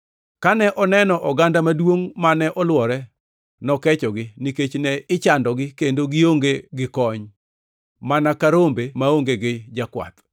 Kane oneno oganda maduongʼ mane olwore, nokechogi, nikech ne ichandogi kendo gionge gi kony, mana ka rombe maonge gi jakwath.